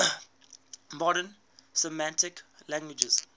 modern semitic languages